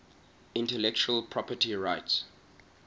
intellectual property rights